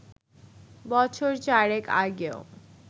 বছর চারেক আগেও